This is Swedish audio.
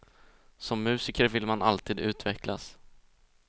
Som musiker vill man alltid utvecklas.